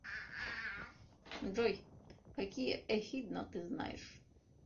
джой какие эхидна ты знаешь